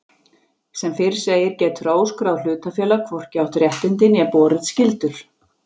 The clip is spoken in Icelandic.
Sem fyrr segir getur óskráð hlutafélag hvorki átt réttindi né borið skyldur.